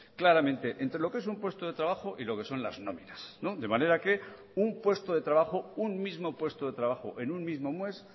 claramente entre lo que es un puesto de trabajo y lo que son las nóminas de manera que un puesto de trabajo un mismo puesto de trabajo en un mismo mes